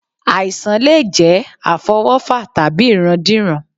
Àìsàn lè jẹ́ àfọwọ́fà tàbí ìrandíran